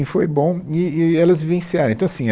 Foi bom, e e elas vivenciaram, então assim